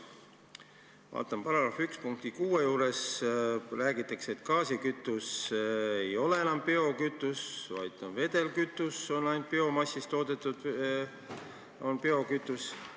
Ma vaatan § 1 punkti 6, kust selgub, et gaaskütus ei ole enam biokütus, biokütus on ainult biomassist toodetud vedelkütus.